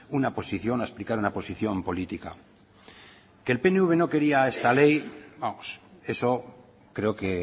una posición a explicar una posición política que el pnv no quería esta ley vamos eso creo que